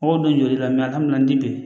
Mɔgɔ don joli la a kamana di bi